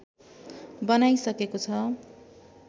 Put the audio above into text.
बनाइसकेको छ